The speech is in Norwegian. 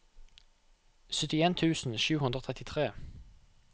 syttien tusen sju hundre og trettitre